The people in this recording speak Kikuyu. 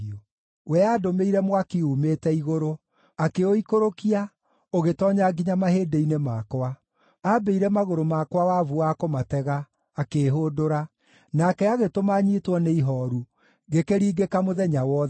“We aandũmĩire mwaki uumĩte igũrũ, akĩũikũrũkia, ũgĩtoonya nginya mahĩndĩ-inĩ makwa. Aambĩire magũrũ makwa wabu wa kũmatega, akĩĩhũndũra. Nake agĩtũma nyiitwo nĩ ihooru, ngĩkĩringĩka mũthenya wothe.